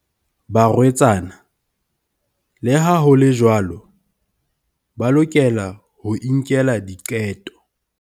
Barwetsana, le ha ho le jwalo, ba lokela ho inkela diqeto.